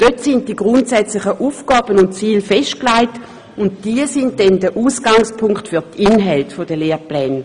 Dort sind die grundsätzlichen Aufgaben und Ziele festgelegt, und diese sind dann der Ausgangspunkt für die Inhalte der Lehrpläne.